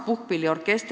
Puhkpillid vananevad.